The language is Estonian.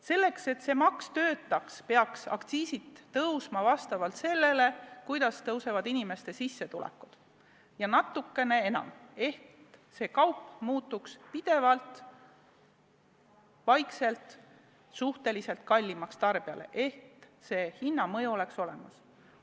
Selleks, et need maksud töötaks, peaks aktsiisid tõusma vastavalt sellele, kuidas kasvavad inimeste sissetulekud, ja natukene enamgi, nii et need kaubad muutuks vaikselt aina kallimaks ehk aktsiisi mõju oleks olemas.